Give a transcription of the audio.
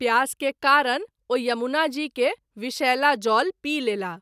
प्यास के कारण ओ यमुना जी के विषैला जल पी लेलाह।